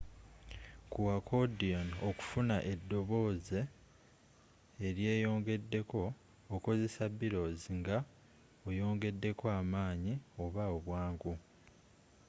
ku accordion okufuna edobooze eryeyongedeko okozesa bellows nga oyongedeko amaanyi oba obwangu